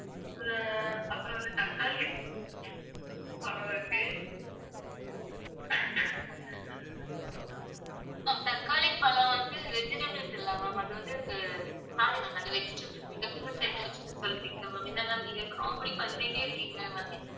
vegetables இல்ல ma'am. அது வந்து sorry ma'am அது vegetables நீங்க fruits items ன்னு சொல்லிட்டீங்க ma'am. என்ன ma'am நீங்க comedy பண்ணிட்டே இருக்கீங்க ma'am